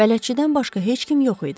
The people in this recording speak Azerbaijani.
Bələdçidən başqa heç kim yox idi.